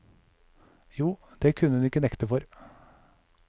Jo, det kunne hun ikke nekte for.